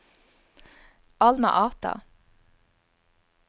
Alma Ata